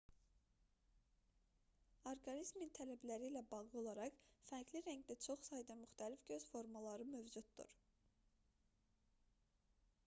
orqanizmin tələbləri ilə bağlı olaraq fərqli rəngdə çox sayda müxtəlif göz formaları mövcuddur